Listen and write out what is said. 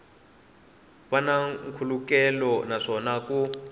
va na nkhulukelano naswona ku